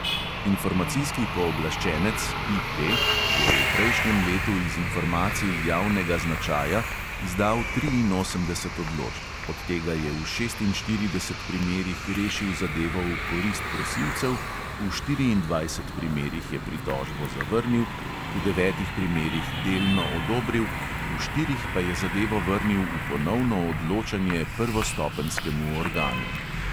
Informacijski pooblaščenec je v prejšnjem letu iz informacij javnega značaja izdal triinosemdeset odločb, od tega je v šestinštirideset primerih rešil zadevo v korist prosilcev, v štiriindvajset primerih je pritožbo zavrnil, v devetih primerih delno odobril, v štirih pa je zadevo vrnil v ponovno odločanje prvostopenjskemu organu.